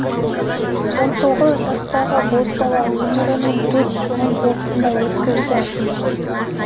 он тоғыз жастағы бозбала өмірінің төрт жылын осында өткізді